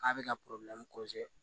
K'a bɛ ka